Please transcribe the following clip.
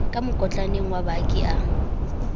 ka mokotlaneng wa baki a